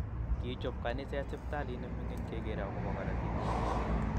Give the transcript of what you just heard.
Kichop kaniset siptalit ne mingin keger akobo karotik